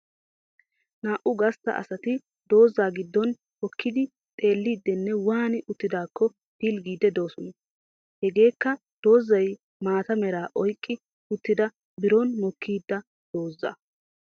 Naa"u gastta asati doozza giddon hokkidi xeellidinne waani uttidaakko pilggiidi doosona. Hageekka doozzay maata meraa oyqqi uttidaa biron mokkida doozzaa.